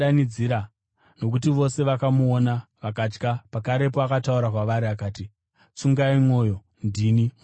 nokuti vose vakamuona vakatya. Pakarepo akataura kwavari akati, “Tsungai mwoyo! Ndini. Musatya.”